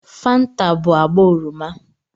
Fanta bụ agba oroma